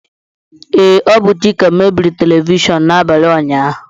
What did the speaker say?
Ee, ọ bụ Chike mebiri telivishọn n'abalị ụnyaahụ